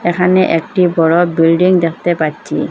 এখানে একটি বড় বিল্ডিং দেখতে পাচ্ছি।